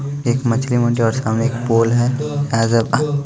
एक मछली मंडी है और सामने एक पोल है ।